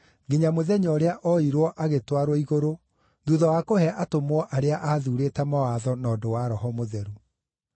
nginya mũthenya ũrĩa oirwo agĩtwarwo igũrũ thuutha wa kũhe atũmwo arĩa aathuurĩte mawatho na ũndũ wa Roho Mũtheru.